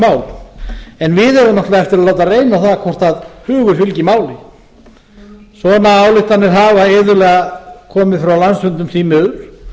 mál en við eigum flestir að láta reyna á það hvort hugur fylgir máli svona ályktanir hafa iðulega komið frá landsfundum sjálfstfl því miður